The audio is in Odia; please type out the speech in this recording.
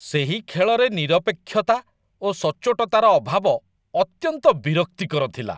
ସେହି ଖେଳରେ ନିରପେକ୍ଷତା ଓ ସଚ୍ଚୋଟତାର ଅଭାବ ଅତ୍ୟନ୍ତ ବିରକ୍ତିକର ଥିଲା।